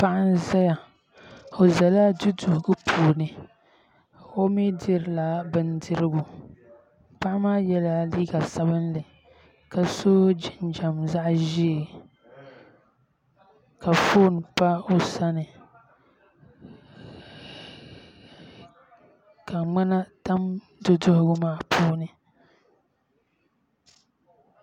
Paɣi n ʒɛya o ʒɛla du duhigipuuni o mi dirila bindirigu paɣi maa yɛla liiga sabinli ka so jiniam zaɣ ʒɛɛ ka foon pa o sani ka ŋmana tam du duhigu maa puuni